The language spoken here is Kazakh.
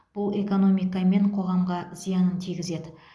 бұл экономика мен қоғамға зиянын тигізеді